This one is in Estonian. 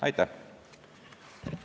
Aitäh!